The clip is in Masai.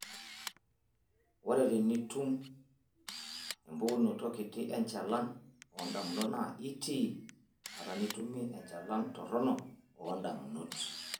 Ore tenitum empukunoto kiti enchalan oondamunot naa itii bata nitumie enchalan toronok oondamunto.